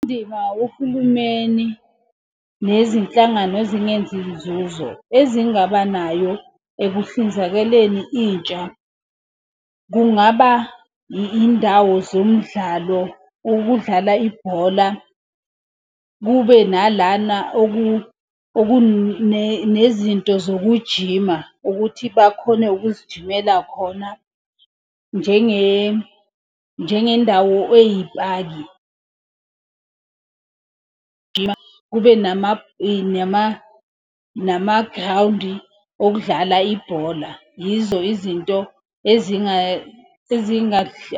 Indima uhulumeni nezinhlangano ezingenzi nzuzo ezingaba nayo ekuhlinzekeleni intsha, kungaba indawo zomdlalo, ukudlala ibhola. Kube nalana okunezinto zokujima ukuthi bakhone ukuzijimela khona njengendawo eyipaki. Kube namagrawundi okudlala ibhola. Yizo izinto